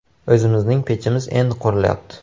O‘zimizning pechimiz endi qurilyapti.